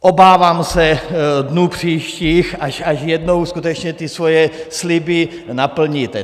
Obávám se dnů příštích, až jednou skutečně ty svoje sliby naplníte.